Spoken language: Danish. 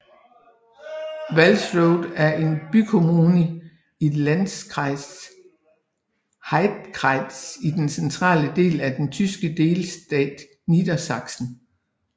Walsrode er en bykommune i Landkreis Heidekreis i den centrale del af den tyske delstat Niedersachsen